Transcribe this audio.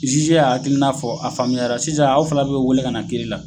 Zizi y'a hakilina fɔ a faamuyara sisan aw fana be wele ka na kiri la